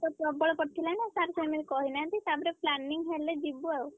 ଶୀତ ପ୍ରବଳ ପଡିଥିଲା ନା sir ସେମିତି କହିନାହାନ୍ତି। ତାପରେ planning ହେଲେ ଯିବୁ ଆଉ।